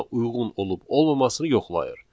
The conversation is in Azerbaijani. uyğun olub olmamasını yoxlayır.